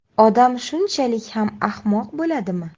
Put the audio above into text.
Odam shunchalik ham ahmoq bo‘ladimi?